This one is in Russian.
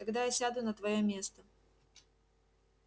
тогда я сяду на твоё место